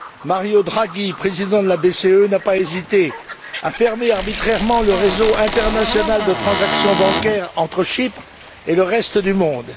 Mario Draghi, président de la BCE, n'a pas hésité à fermer arbitrairement le réseau international de transactions bancaires entre Chypre et le reste du monde.